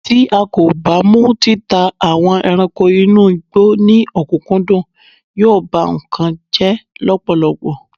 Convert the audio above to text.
ti a ko ba mu títà àwọn ẹranko inú igbó ni okunkundun, yíò ba nkan jẹ lọpọlọpọ